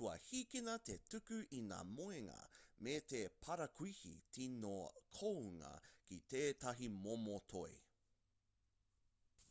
kua hīkina te tuku i ngā moenga me te parakuihi tino kounga ki tētahi momo toi